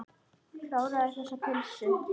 Kláraðu þessa pylsu.